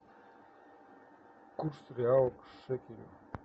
курс реала к шекелю